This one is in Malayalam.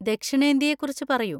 ദക്ഷിണേന്ത്യയെ കുറിച്ച് പറയൂ.